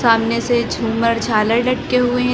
सामने से झूमर झालर लटके हुए--